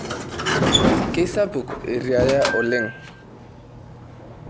Kesapuk eriya oleng.